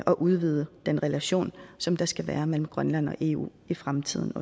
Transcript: og udvide den relation som der skal være mellem grønland og eu i fremtiden